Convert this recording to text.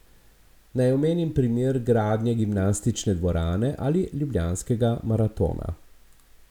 Naj omenim primer gradnje gimnastične dvorane ali ljubljanskega maratona.